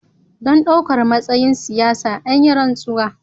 Don ɗaukar matsayin siyasa, an yi rantsuwa